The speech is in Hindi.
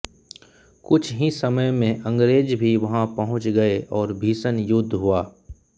कुछ ही समय में अंग्रेज़ भी वहाँ पहुँच गए और भीषण युद्ध हुआ